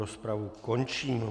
Rozpravu končím.